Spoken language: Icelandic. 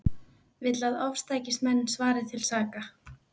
Vill að ofstækismenn svari til saka